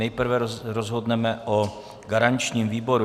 Nejprve rozhodneme o garančním výboru.